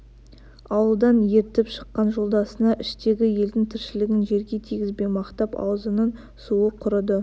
ауылдан ертіп шыққан жолдасына іштегі елдің тіршілігін жерге тигізбей мақтап аузының суы құрыды